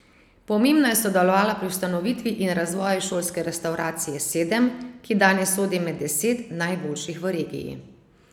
Pomembno je sodelovala pri ustanovitvi in razvoju šolske restavracije Sedem, ki danes sodi med deset najboljših v regiji.